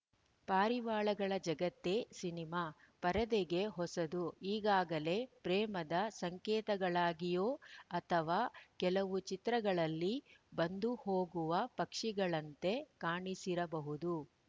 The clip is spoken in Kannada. ಪಾರಿವಾಳಗಳ ಜಗತ್ತೇ ಸಿನಿಮಾ ಪರದೆಗೆ ಹೊಸದು ಈಗಾಗಲೇ ಪ್ರೇಮದ ಸಂಕೇತಗಳಾಗಿಯೋ ಅಥವಾ ಕೆಲವು ಚಿತ್ರಗಳಲ್ಲಿ ಬಂದು ಹೋಗುವ ಪಕ್ಷಿಗಳಂತೆ ಕಾಣಿಸಿರಬಹುದು